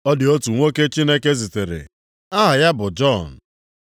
Ọ dị otu nwoke Chineke zitere, aha ya bụ Jọn.